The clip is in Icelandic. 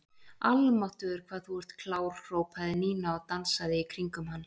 Almáttugur hvað þú ert klár hrópaði Nína og dansaði í kringum hann.